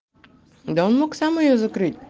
да он мог сам её закрыть